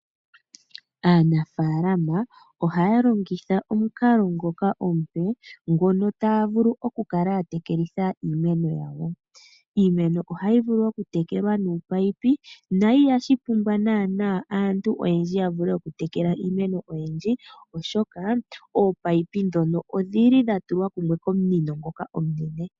Aanafaalama ohaya longitha omukalo ngoka omupe ngono taya vulu okukala ya tekelitha iimeno yawo. Iimeno ohayi vulu okutekelwa nominino no ihashi pumbwa naanaa aantu oyendji ya vule okutekela iimeno oyindji oshoka ominino ndhoka odhili dha tulwa kumwe komunino ngoka omunene.